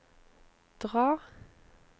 dra